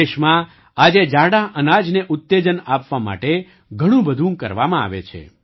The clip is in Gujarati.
દેશમાં આજે જાડાં અનાજને ઉત્તેજન આપવા માટે ઘણું બધું કરવામાં આવે છે